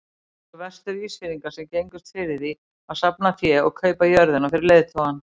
Það voru Vestur-Ísfirðingar sem gengust fyrir því að safna fé og kaupa jörðina fyrir leiðtogann.